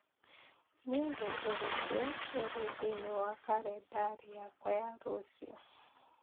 Nĩ ũndũ ũrĩkũ ũrĩ thĩinĩ wa kalendarĩ yakwa ya rũciũ